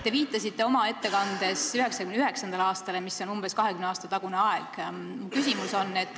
Te viitasite oma ettekandes 1999. aastale, mis on umbes 20 aasta tagune aeg.